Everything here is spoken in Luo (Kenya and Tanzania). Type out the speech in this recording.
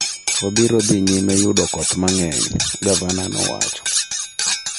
""Wabiro dhi nyime yudo koth mang'eny," gavana nowacho.